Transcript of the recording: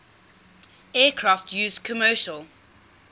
aircraft used commercial